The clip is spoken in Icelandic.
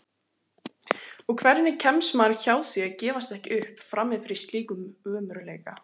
Og hvernig kemst maður hjá því að gefast ekki upp frammi fyrir slíkum ömurleika?